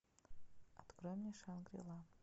открой мне шангри ла